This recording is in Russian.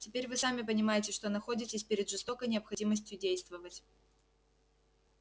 теперь вы сами понимаете что находитесь перед жестокой необходимостью действовать